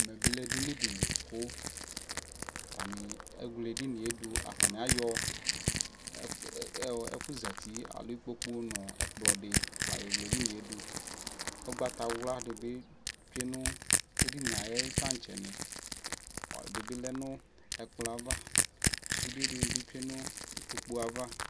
ɛmɛ bi lɛ ɛdini dili kʋ atani ɛwlɛ ɛdiniɛ dʋ kʋ atani ayɔ ɛƒʋ zatiɛ alɔ ikpɔkʋ nʋ ɛkplɔ di layɔ wlɛ ɛdiniɛ dʋ, ʋgbata wla dibi twɛnʋ ɛdiniɛ ayi tankyɛ ni, ɛdibilɛnʋ ɛkplɔɛ aɣa, sʋdɛ dini bi twɛnʋ ikpɔkʋɛ aɣa